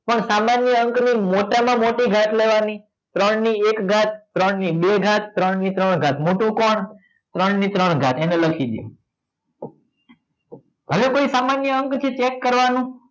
પણ સામાન્ય અંકની મોટામાં મોટી ઘાત લેવાની ત્રણની એક ઘાત ત્રણ ની બે ઘાત ત્રણ ની ત્રણ ઘાત મોટું કોણ ત્રણ ની ત્રણ ઘાત એને લખી દો હવે કોઈ સામાન્ય અંક છે એ check કરવાનું